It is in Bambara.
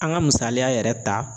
An ka misaliya yɛrɛ ta